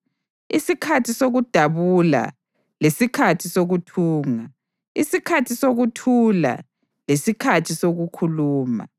isikhathi sokudabula lesikhathi sokuthunga, isikhathi sokuthula lesikhathi sokukhuluma,